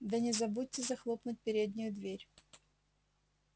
да не забудьте захлопнуть переднюю дверь